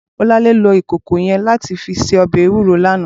Bolanle ló ikókó yèn làtí fi sé òbè éwúró làná